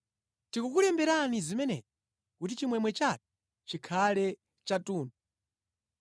Tikukulemberani zimenezi kuti chimwemwe chathu chikhale chathunthu.